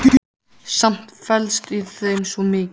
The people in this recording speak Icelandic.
Samt felst í þeim svo mikið.